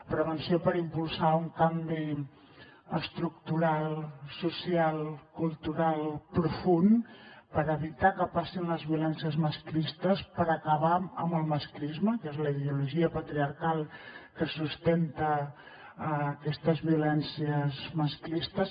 prevenció per impulsar un canvi estructural social cultural profund per evitar que passin les violències masclistes per acabar amb el masclisme que és la ideologia patriarcal que sustenta aquestes violències masclistes